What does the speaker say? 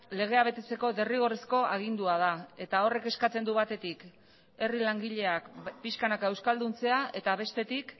legea betetzeko derrigorrezko agindua da eta horrek eskatzen du batetik herri langileak pixkanaka euskalduntzea eta bestetik